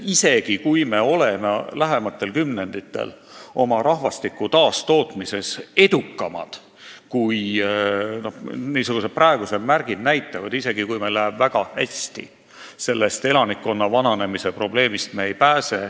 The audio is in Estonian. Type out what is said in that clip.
Ja isegi kui me oleme lähimatel kümnenditel oma rahvastiku taastootmises edukamad, kui praegused märgid näitavad, isegi kui meil läheb väga hästi – elanikkonna vananemise probleemist me ei pääse.